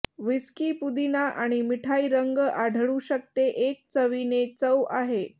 whisky पुदीना आणि मिठाई रंग आढळू शकते एक चवीने चव आहे